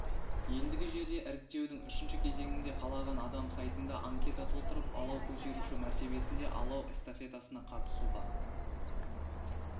ендігі жерде іріктеудің үшінші кезеңінде қалаған адам сайтында анкета толтырып алау көтеруші мәртебесінде алау эстафетасына қатысуға